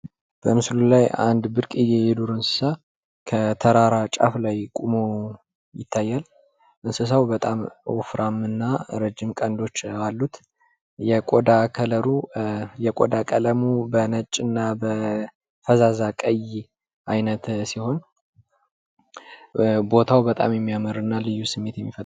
በምስሉ ላይ አንድ ብርቅዬ የዱር እንሰሳ ከተራራው ጫፍ ላይ ቁሞ ይታያል። እንሰሳው በጣም ወፍራም እና ረጂም ቀንዶች አሉት። የቆዳ ቀለሙ በነጭ እና በፈዛዛ ቀይ አይነት ሲሆን ቦታው በጣም የሚያምር እና ልዩ ስሜት የሚፈጥር ነው።